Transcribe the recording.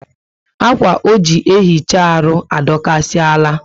Akwa o ji ehicha arụ adokasi ala